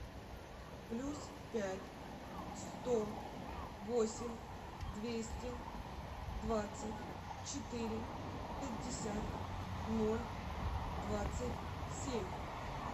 плюс пять сто восемь двести двадцать четыре пятьдесят ноль двадцать семь